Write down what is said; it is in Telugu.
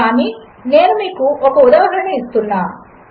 కానినేనుమీకుఒకఉదాహరణనుఇస్తున్నాను